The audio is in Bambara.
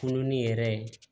Kulon ni yɛrɛ ye